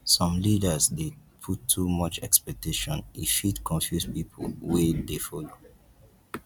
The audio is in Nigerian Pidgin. some leaders dey put too much expectation e fit confuse pipo wey dey follow